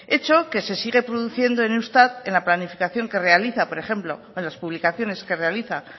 hecho que se sigue produciendo en eustat en la planificación que realiza por ejemplo en las publicaciones que realiza